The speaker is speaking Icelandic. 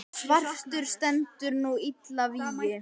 svartur stendur nú illa vígi.